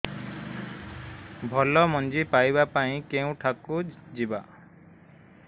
ଭଲ ମଞ୍ଜି ପାଇବା ପାଇଁ କେଉଁଠାକୁ ଯିବା